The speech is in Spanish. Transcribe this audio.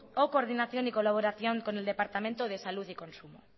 o coordinación y colaboración con el departamento de salud y consumo